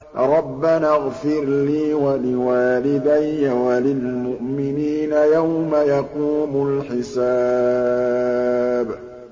رَبَّنَا اغْفِرْ لِي وَلِوَالِدَيَّ وَلِلْمُؤْمِنِينَ يَوْمَ يَقُومُ الْحِسَابُ